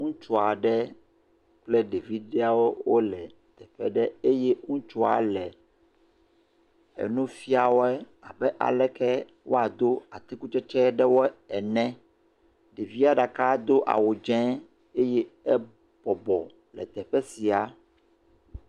Ŋutsu aɖe kple ɖevi ɖewo wole teƒe ɖe, ŋutsua le nu fia wɔe abe aleke woado atikutsetse ene, ɖevie ɖeka do awu dze eye ebɔbɔ le teƒe sia.